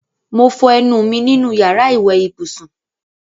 Mo fọ ẹnu mi nínú yàrá ìwé ibùsùn